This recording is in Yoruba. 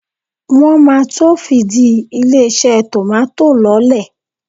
Wọ́n máa to fìdí ilé-iṣẹ́ tòmátò lọ́lẹ̀.